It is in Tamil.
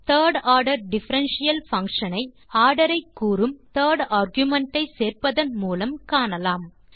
திர்ட் ஆர்டர் டிஃபரன்ஷியல் பங்ஷன் ஐ ஆர்டர் ஐ கூறும் திர்ட் ஆர்குமென்ட் ஐ சேர்ப்பதன் மூலம் காணலாம்